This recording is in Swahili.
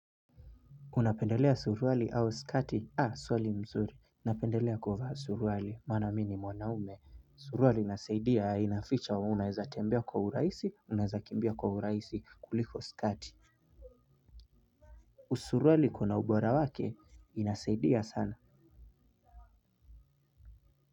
Unapendelea suruali au skati? Swali mzuri. Napendelea kuvaa suruali, maana mimi ni mwanaume. Suruali inasaidia inaficha wa naeza tembea kwa urahisi, naeza kimbia kwa urahisi kuliko skati. Suruali kuna ubora wake, inasaidia sana.